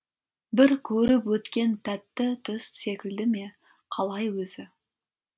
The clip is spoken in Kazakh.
бір көріп өткен тәтті түс секілді ме қалай өзі